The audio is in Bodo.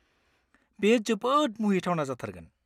बेयो जोबोद मुहिथावना जाथारगोन।